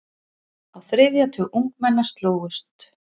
Á þriðja tug ungmenna slógust.